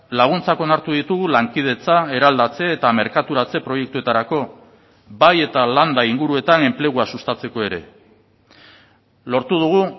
laguntzak onartu ditugu lankidetza eraldatze eta merkaturatze proiektuetarako bai eta landa inguruetan enplegua sustatzeko ere lortu dugu